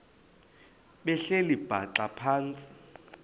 behleli bhaxa phantsi